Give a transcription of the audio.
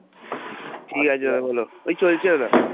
ঠিক আছে দাদা বল ওই চলছে দাদা,